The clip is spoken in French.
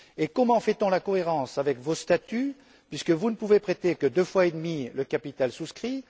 Comment assure t on la cohérence avec vos statuts, puisque vous ne pouvez prêter que deux fois et demi le capital souscrit?